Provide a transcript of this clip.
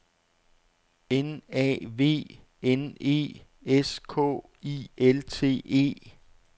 N A V N E S K I L T E